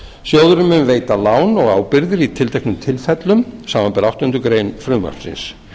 sjóðurinn mun veita lán og ábyrgðir í tilteknum tilfellum samanber áttundu greinar frumvarpsins